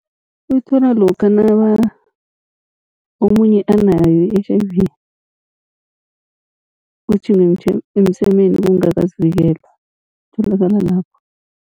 Uyithola lokha omunye anayo i-H_I_V, utjhinga emsemeni kungakazivikelwa itholakala lapho.